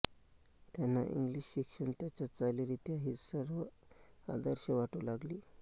त्यांना इंग्लिश शिक्षण त्यांच्या चालीरीती ही सर्व आदर्श वाटू लागली